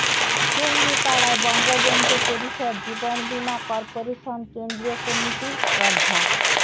টুঙ্গিপাড়ায় বঙ্গবন্ধু পরিষদ জীবন বীমা কর্পোরেশন কেন্দ্রীয় কমিটির শ্রদ্ধা